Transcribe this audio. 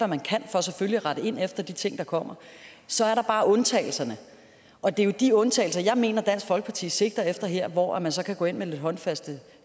man kan for selvfølgelig at rette ind efter de ting der kommer så er der bare undtagelserne og det er jo de undtagelser jeg mener dansk folkeparti sigter efter her hvor man så kan gå ind med lidt håndfaste